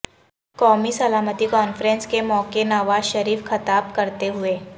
قومی سلامتی کانفرنس کے موقع نواز شریف خطاب کرتے ہوئے